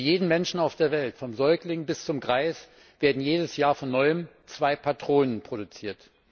Für jeden Menschen auf der Welt vom Säugling bis zum Greis werden jedes Jahr von neuem zwei Patronen produziert.